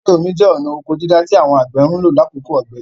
Ìkórè omi jẹ́ ọ̀na ọkọ dídá tí àwọn àgbẹ̀ ń lò lákòókò ọ̀gbẹlẹ̀.